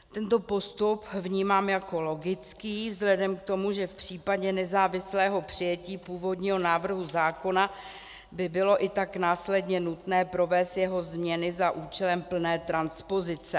Tento postup vnímám jako logický vzhledem k tomu, že v případě nezávislého přijetí původního návrhu zákona by bylo i tak následně nutné provést jeho změny za účelem plné transpozice.